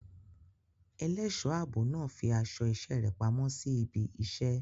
Ẹlẹ́ṣọ̀ ààbò náà fi aṣọ iṣẹ́ rẹ̀ pamọ́ sí ibi iṣẹ́.